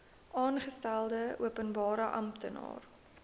aangestelde openbare amptenaar